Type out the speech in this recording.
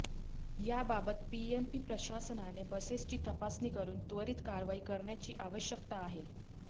याबाबत पीएमपी प्रशासनाने बसेसची तपासणी करून त्वरित कारवाई करण्याची आवश्यकता आहे